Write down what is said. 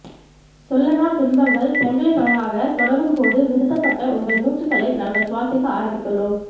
சொல்லனா துன்பங்கள் சங்கிலித்தொடராகதொடரும்போதும் நிறுத்தப்பட்ட உங்கள் மூச்சுக்களை நாங்கள் சுவாசிக்க ஆரம்பித்துள்ளோம்